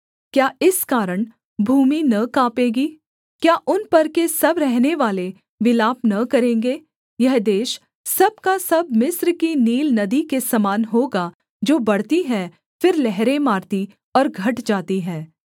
क्या इस कारण भूमि न काँपेगी क्या उन पर के सब रहनेवाले विलाप न करेंगे यह देश सब का सब मिस्र की नील नदी के समान होगा जो बढ़ती है फिर लहरें मारती और घट जाती है